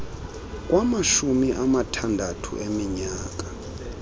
kwamashumi amathandathu eminyaka